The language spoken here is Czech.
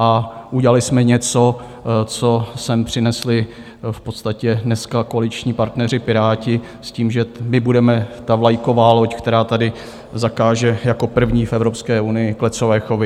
A udělali jsme něco, co sem přinesli v podstatě dneska koaliční partneři Piráti s tím, že my budeme ta vlajková loď, která tady zakáže jako první v Evropské unii klecové chovy.